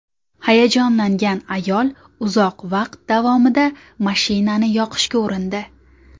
Hayajonlangan ayol uzoq vaqt davomida mashinani yoqishga urindi.